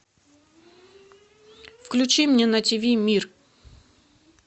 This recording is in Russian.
включи мне на тиви мир